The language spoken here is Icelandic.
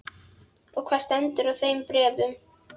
Og hvað stendur í þeim bréfum?